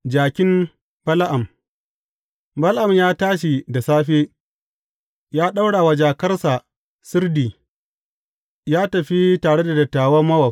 Jakin Bala’am Bala’am ya tashi da safe, ya ɗaura wa jakarsa sirdi, ya tafi tare da dattawan Mowab.